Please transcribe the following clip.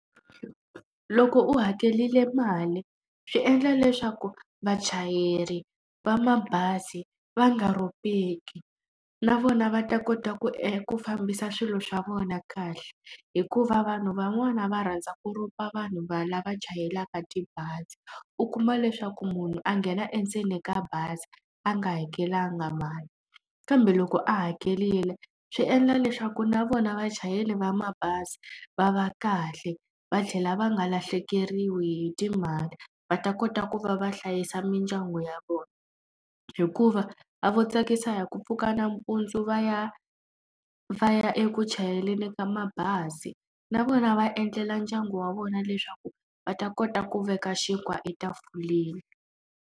Loko u hakerile mali, swi endla leswaku vachayeri va mabazi va nga rhobeki na vona va ta kota ku ku fambisa swilo swa vona kahle. Hikuva vanhu van'wani va rhandza ku rhoba vanhu va lava chayelaka tibazi, u kuma leswaku munhu a nghena endzeni ka bazi, a nga hakelanga mali. Kambe loko a hakerile, swi endla leswaku na vona vachayeri va mabazi va va kahle, va tlhela va nga lahlekeriwi hi timali, va ta kota ku va va hlayisa mindyangu ya vona. Hikuva a vo tsakisa hi ku pfuka nampundzu va ya va ya eku chayeleni ka mabazi, na vona va endlela ndyangu wa vona leswaku va ta kota ku veka xinkwa etafuleni.